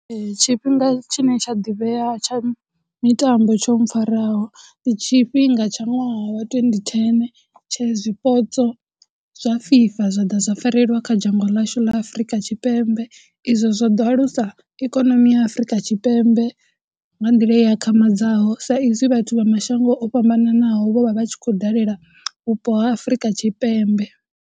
Tshifhinga tshine tsha ḓivhea tsha mitambo tsho mpfharaho, ndi tshifhinga tsha ṅwaha wa twenty ten tshe zwipotso zwa FIFA zwa ḓa zwa farelelwa kha dzhango ḽashu ḽa Afurika Tshipembe. Izwo zwo ḓo alusa ikonomi ya Afurika Tshipembe nga nḓila i akhamadzaho sa izwi vhathu vha mashango o fhambananaho vho vha vha tshi khou dalela vhupo ha Afurika Tshipembe.